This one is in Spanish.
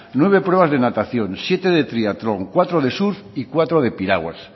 nueve pruebas de natación siete de triatlón cuatro de surf y cuatro de piraguas